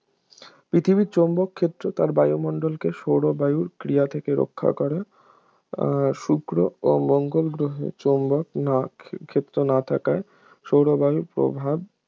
পৃথিবীর চৌম্বক ক্ষেত্র তার বায়ুমণ্ডলকে সৌরবায়ুর ক্রিয়া থেকে রক্ষা করে শুক্র ও মঙ্গল গ্রহে চৌম্বক না ক্ষে~ ক্ষেত্র না থাকায় সৌরবায়ুর প্রভাব